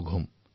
পুনৰ লগ পাম